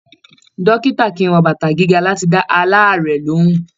Dókítà kìí wọ bàtà gíga láti dá alaarẹ̀ lohùn.